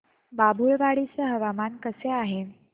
बाभुळवाडी चे हवामान कसे आहे